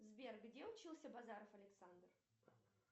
сбер где учился базаров александр